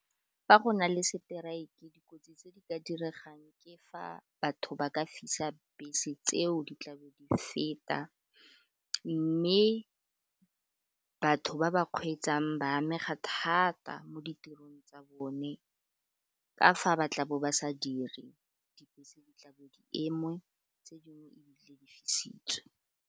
Fa go na le seteraeke dikotsi tse di ka diregang ke fa batho ba ka fisa bese tseo di tla bo di feta, mme batho ba ba kgweetsang ba amega thata mo ditirong tsa bone ka fa ba tla bo ba sa dire, dibese di tla bo di eme tse dingwe ebile di fisitswe.